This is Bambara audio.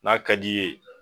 N'a ka d'i ye